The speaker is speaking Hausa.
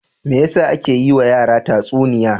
Me ya sa ake yiwa yara tatsuniya?